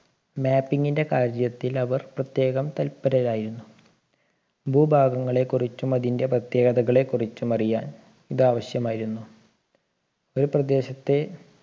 mapping ൻറെ കാര്യത്തിൽ അവർ പ്രത്യേകം തല്പരരായിരുന്നു ഭൂഭാഗങ്ങളെ കുറിച്ചും അതിൻറെ പ്രത്യേകതകളെ കുറിച്ചും അറിയാൻ ഇത് ആവശ്യമായിരുന്നു ഒരു പ്രദേശത്തെ